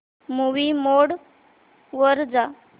movie mode वर जा